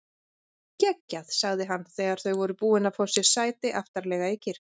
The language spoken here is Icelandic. Geggjað sagði hann þegar þau voru búin að fá sér sæti aftarlega í kirkjunni.